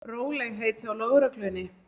Rólegheit hjá lögreglunni